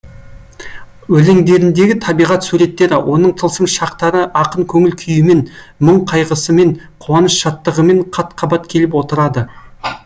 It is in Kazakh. өлеңдеріндегі табиғат суреттері оның тылсым шақтары ақын көңіл күйімен мұң қайғысымен қуаныш шаттығымен қат қабат келіп отырады